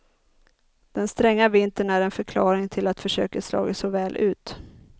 Den stränga vintern är en förklaring till att försöket slagit så väl ut.